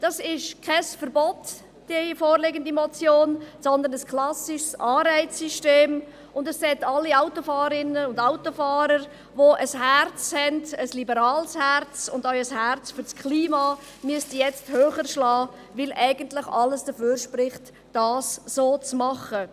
Die vorliegende Motion ist kein Verbot, sondern ein klassisches Anreizsystem, und das Herz aller Autofahrerinnen und Autofahrer mit einem liberalen Herzen und auch einem Herzen für das Klima, müsste nun höher schlagen, weil eigentlich alles dafür spricht, es so zu machen.